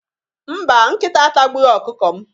Mba, nkịta atagbughi ọkụkọ m.